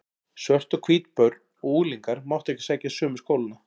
Svört og hvít börn og unglingar máttu ekki sækja sömu skólana.